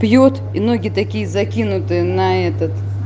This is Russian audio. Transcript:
пьют и ноги такие закинут на этот